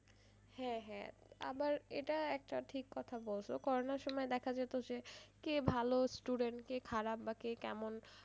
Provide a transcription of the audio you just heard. হ্যাঁ হ্যাঁ আবার এটা একটা ঠিক কথা বলছো করোনার সময়ে দেখা যেত যে কে ভালো student কে খারাপ বা কে কেমন,